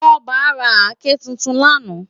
Toba rá àké tútún làná